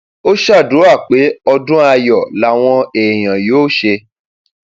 ó ṣàdúrà pé ọdún ayọ làwọn èèyàn yóò ṣe